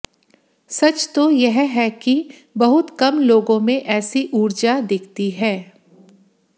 सच तो यह है कि बहुत कम लोगों में ऐसी ऊर्जा दिखती है